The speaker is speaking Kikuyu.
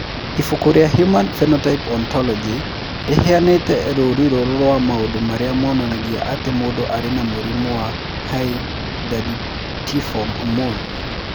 Ibuku rĩa Human Phenotype Ontology rĩheanĩte rũũri rũrũ rwa maũndũ marĩa monanagia atĩ mũndũ arĩ na mũrimũ wa Hydatidiform mole.